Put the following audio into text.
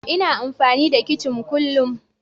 Ina amfani da kicin kullun.